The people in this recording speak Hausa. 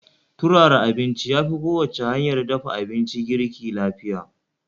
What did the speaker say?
turara abincin yafi kowacce hanyar dafa abinci girki lafiya